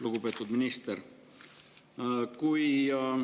Lugupeetud minister!